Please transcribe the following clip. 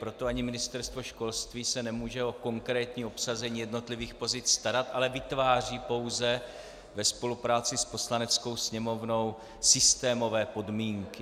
Proto ani Ministerstvo školství se nemůže o konkrétní obsazení jednotlivých pozic starat, ale vytváří pouze ve spolupráci s Poslaneckou sněmovnou systémové podmínky.